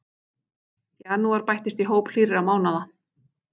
Janúar bættist í hóp hlýrra mánaða